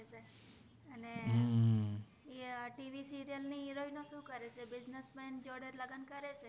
TV serial નિ હિરોઇનો સુ કરે સ્છે બુઇસ્નેસ્સ મેન જોદે લગન કરે છે